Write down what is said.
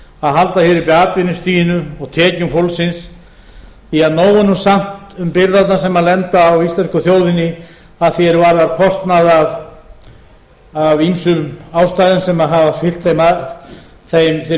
að halda hér uppi atvinnustiginu og tekjum fólksins því nóg er nú samt um byrðarnar sem lenda á íslensku þjóðinni að því er varðar kostnað af ýmsum ástæðum sem hafa fylgt þeirri